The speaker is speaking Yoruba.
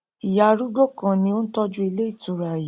ìyá arúgbó kan ni ó n tọjú ilé ìtura yìí